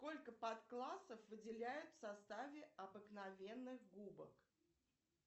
сколько подклассов выделяют в составе обыкновенных губок